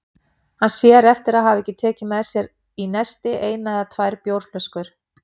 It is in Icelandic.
Hann sér eftir að hafa ekki tekið með sér í nesti eina eða tvær bjórflöskur.